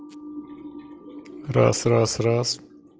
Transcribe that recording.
раз-раз-раз